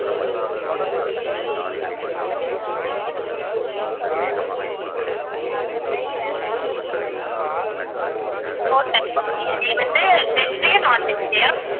four types of biryani வந்து veg லயா non veg லயா